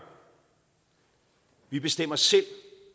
vi bestemmer selv